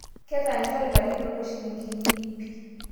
keta lnjoreta linono shilingini pii